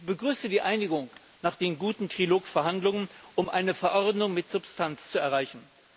Ich begrüße die Einigung nach den guten Trilog Verhandlungen, um eine Verordnung um mit Substanz zu erreichen.